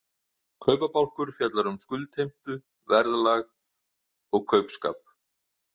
Kaupabálkur fjallar um skuldheimtu, verðlag og kaupskap.